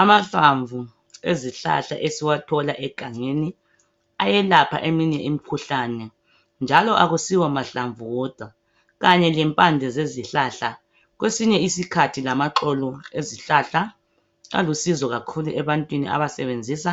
Amahlamvu ezihlahla esiwathola egangeni, ayelapha eminye imikhuhlane, njalo kakusiwomahlamvu wodwa. Kanye lempande zezihlahla. Kwesinye isikhathi lamaxolo ezihlahla, alusizo kakhulu, ebantwini abasebenzusa